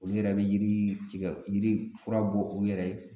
Olu yɛrɛ bɛ yiri tigɛ yiri fura bɔ u yɛrɛ ye